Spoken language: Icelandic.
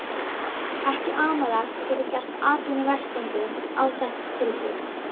Ekki amalegt að geta gert atvinnurekendum áþekk tilboð.